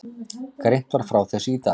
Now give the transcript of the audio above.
Greint var frá þessu í dag